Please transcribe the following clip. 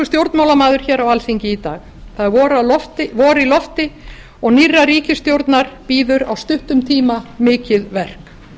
stjórnmálamaður hér á alþingi í dag það er vor í lofti og nýrrar ríkisstjórnar bíður á stuttum tíma mikið verk